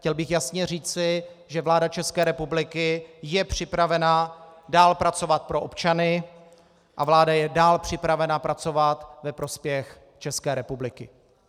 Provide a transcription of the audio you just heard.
Chtěl bych jasně říci, že vláda České republiky je připravena dál pracovat pro občany a vláda je dál připravena pracovat ve prospěch České republiky.